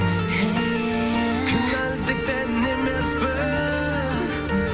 кінәлі тек мен емеспін